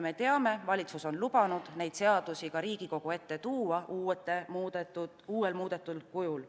Me teame, et valitsus on lubanud need seadused muudetud kujul Riigikogu ette tuua.